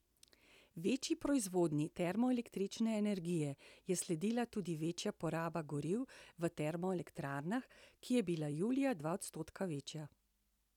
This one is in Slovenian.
Večji proizvodnji termoelektrične energije je sledila tudi večja poraba goriv v termoelektrarnah, ki je bila julija dva odstotka večja.